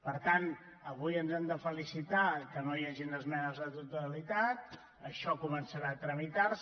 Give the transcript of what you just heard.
per tant avui ens hem de felicitar que no hi hagin esmenes a la totalitat això començarà a tramitar se